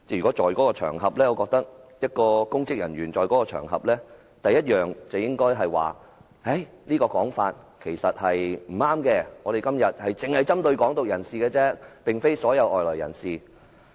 我認為如有公職人員在場，他首先應指出這話並不正確，因今天只針對"港獨"人士，而非所有外來人士。